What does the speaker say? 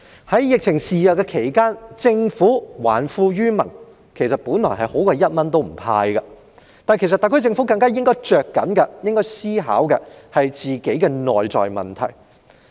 在疫情肆虐期間，政府還富於民本來已較不"派錢"好，但特區政府更應着緊思考本身的內在問題。